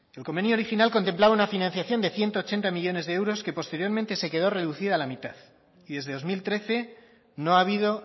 el convenio original contemplaba una financiación de ciento ochenta millónes de euros que posteriormente se quedó reducido a la mitad y desde dos mil trece no ha habido